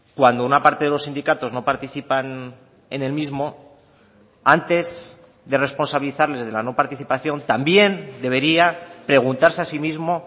cuando una parte de los sindicatos no participan en el mismo antes de responsabilizarles de la no participación también debería preguntarse a sí mismo